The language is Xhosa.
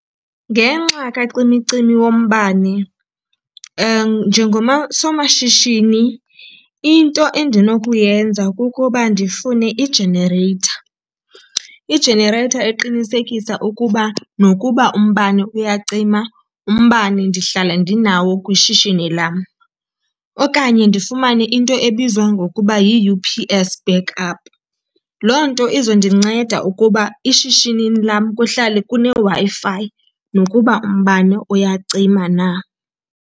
Ngenxa kacimicimi wombane somashishini into endinokuyenza kukuba ndifune i-generator, i-generator eqinisekisa ukuba nokuba umbane uyacima umbane ndihlale ndinawo kwishishini lam. Okanye ndifumane into ebizwa ngokuba yi-U_P_S back up. Loo nto izondinceda ukuba ishishinini lam kuhlale kuneWi-Fi nokuba umbane uyacima na.